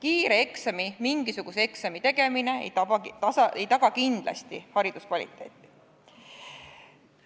Kiire eksami, mingisuguse eksami tegemine ei taga kindlasti hariduskvaliteeti.